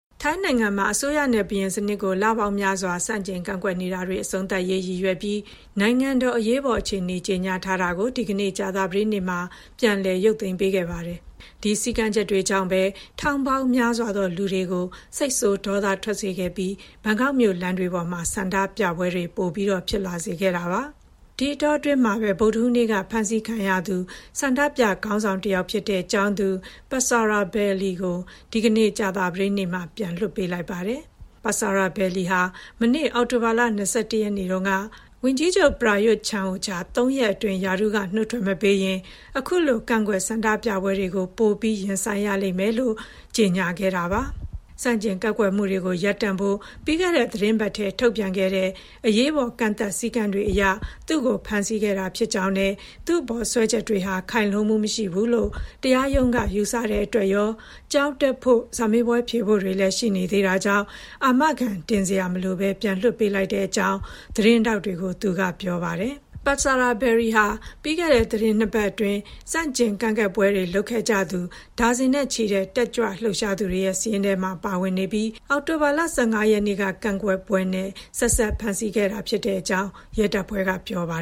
ထိုင်းနိုင်ငံမှာ အစိုးရနဲ့ ဘုရင်စနစ်ကို လပေါင်းများစွာ ဆန့်ကျင်ကန့်ကွက်နေတာတွေ အဆုံးသတ်ရေး ရည်ရွယ်ပြီး နိုင်ငံတော်အရေးပေါ်အခြေအနေ ကြေညာထားတာကို ဒီကနေ့ ကြာသပတေးနေ့မှာ ပြန်လည် ရုပ်သိမ်းပေးခဲ့ပါတယ်။ ဒီစည်းကမ်းချက်တွေကြောင့်ပဲ ထောင်ပေါင်းများစွာသော လူတွေကို စိတ်ဆိုးဒေါသထွက်စေခဲ့ပြီး ဘန်ကောက်မြို့ လမ်းတွေပေါ်မှာ ဆန္ဒပြပွဲတွေ ပိုဖြစ်လာခဲ့တာပါ။ ဒီအတောအတွင်းမှာပဲ ဗုဒ္ဓဟူးနေ့က ဖမ်းဆီးခံခဲ့ရသူ ဆန္ဒပြခေါင်းဆောင်တယောက်ဖြစ်တဲ့ ကျောင်းသူ Patsaravalee "Mind" Tanakitvibulpon ကို ဒီကနေ့ ကြာသပတေးနေ့မှာ ပြန်လွတ်လာပါတယ်။ ပတ်ဆာရာဗယ်လီ ဟာ မနေ့ အောက်တိုဘာလ ၂၁ ရက်နေ့တုန်းက ဝန်ကြီးချုပ် ပရာရွတ် ချန်အိုချာ ၃ ရက်အတွင်း ရာထူးကနုတ်ထွက်မပေးရင် အခုလို ကန့်ကွက်ဆန္ဒပြပွဲတွေကို ပိုပြီး ရင်ဆိုင်ရလိမ့်မယ်လို့ ကြေညာခဲ့တာပါ။ ဆန့်ကျင်ကန့်ကွက်မှုတွေ ရပ်တန့်ဖို့ ပြီးခဲ့တဲ့သီတင်းပတ်ထဲက ထုတ်ပြန်ခဲ့တဲ့ အရေးပေါ် ကန့်သတ် စည်းကမ်းတွေအရ သူ့ကို ဖမ်းဆီးခဲ့တာဖြစ်ကြောင်းနဲ့ သူ့အပေါ်စွဲချက်တွေဟာ ခိုင်လုံမှုမရှိဘူးလို့ တရားရုံးက ယူဆတဲ့အတွက်ရော၊ ကျောင်းတက်ဖို့ စာမေးပွဲဖြေဖို့တွေလည်း ရှိေနေသေးတာကြောင့် အာမခံတင်စရာ မလိုဘဲ ပြန်လွှတ်ပေးလိုက်ကြောင်း သတင်းထောက်တွေကို သူက ပြောပါတယ်။ ပတ်ဆာရာဗယ်လီဟာ ပြီးခဲ့တဲ့ သီတင်း ၂ ပတ်အတွင်း ဆန့်ကျင်ကန့်ကွက်ပွဲတွေလုပ်ခဲ့ကြသူ ဒါဇင်နဲ့ချီတဲ့ တက်ကြွလှုပ်ရှားသူတွေရဲ့ စာရင်းထဲမှာ ပါဝင်နေပြီး အောက်တိုဘာလ ၁၅ ရက်နေ့က ကန့်ကွက်ပွဲနဲ့ ဆက်စပ်ဖမ်းဆီးခဲ့တာဖြစ်ကြောင်း ရဲတပ်ဖွဲ့က ပြောပါ